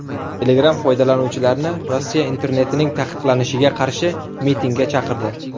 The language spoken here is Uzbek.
Telegram foydalanuvchilarni Rossiya internetining taqiqlanishiga qarshi mitingga chaqirdi.